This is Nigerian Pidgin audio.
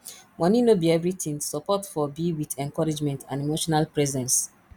money no be everything support for be with encouragement and emotional presence